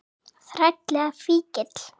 Þræll eða fíkill.